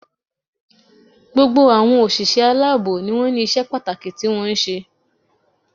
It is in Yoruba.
Gbogbo àwọn òṣìṣẹ́ aláàbò ni wọ́n ní isé pàtàkì tí wọ́n ń ṣe